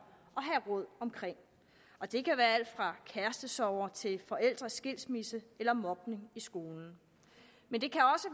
og det kan være alt fra kærestesorger til forældres skilsmisse eller mobning i skolen men det